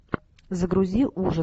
загрузи ужас